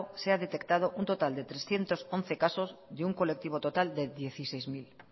se ha detectado un total de trescientos once casos de un colectivo total de dieciséis mil